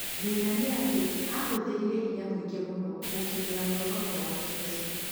Thĩna nĩ atĩ aahũthĩrire hinya mũingĩ mũno gũkinyĩra muoroto wake ucĩo.